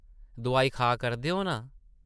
दुआई खा करदे ओ नां ?